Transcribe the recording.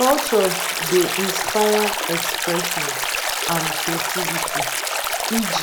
culture dey inspire expression and creativity eg